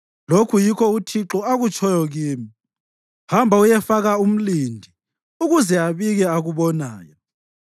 Lokhu yikho uThixo akutshoyo kimi: “Hamba uyefaka umlindi ukuze abike akubonayo.